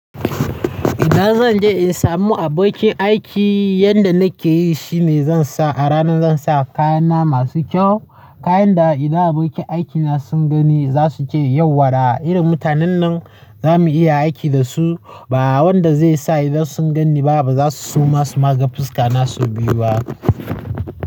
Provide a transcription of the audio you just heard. Idan zan je in samu abokin aiki, yanda nake yi shine zan sa a rana zan sa kayana masu kyau. Kayan da idan abokin aikina sun gani za su ce yauwa da irin mutanen nan za mu iya aiki da su. Ba wanda zai sa idan sun gan ni ba za su so ma su maga fuska na so biyu ba.